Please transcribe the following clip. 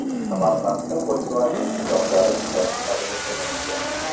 Samarqandda Volkswagen pikaplari ishlab chiqarilishi mumkin.